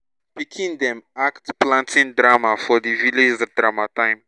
pikin dem act planting drama for di village drama time